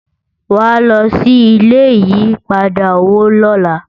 wá ló ṣì ilé ìyí padà owó lọla